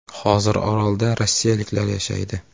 “Hozir orolda rossiyaliklar yashaydi.